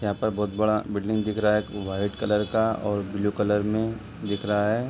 यहाँ पर बोहोत बड़ा बिल्डिंग दिख रहा है एक वाइट कलर का और ब्लू कलर में दिख रहा है।